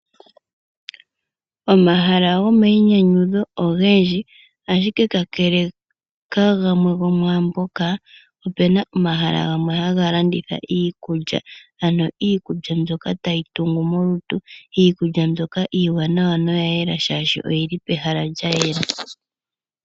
Omahala gomayi nyanyudho ogendji ashike kakele kagamwe gomamboka opena omahala gamwe haga landitha iikulya, iikulya mbyoka tayi tungu molutu, iikulya mbyoka iiwanawa noyayela shaashi oyili pehala lyayela.